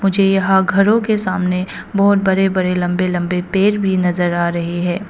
मुझे यहां घरों के सामने बहुत बड़े बड़े लंबे लंबे पेड़ भी नजर आ रहे हैं।